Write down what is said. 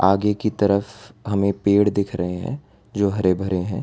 आगे की तरफ हमें पेड़ दिख रहे हैं जो हरे भरे हैं।